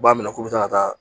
U b'a minɛ k'u bɛ taa ka taa